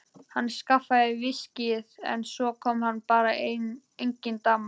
Hann skaffaði viskíið en svo kom bara engin dama.